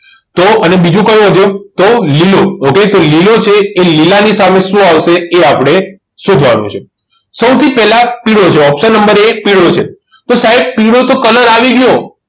તો અને બીજો કયો વધ્યો તો લીલો okay તો લીલો છે એ લીલા ની સામે શું આવશે એ આપણે શોધવાનું છે સૌથી પહેલા પીળો જોવો option નંબર એક પીળો છે તો સાહેબ પીળો તો colour આવી ગયો